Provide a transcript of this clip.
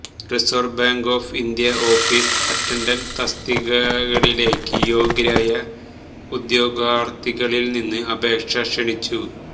reserve Bank of India office attendant തസ്തികയിലേക്ക് യോഗ്യരായ ഉദ്യോഗാര്ഥികളില് നിന്ന് അപേക്ഷ ക്ഷണിച്ചു